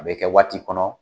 A bɛ kɛ waati kɔnɔ